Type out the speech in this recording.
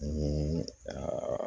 Ani